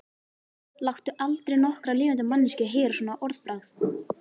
Láttu aldrei nokkra lifandi manneskju heyra svona orðbragð.